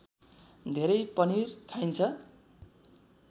धेरै पनिर खाइन्छ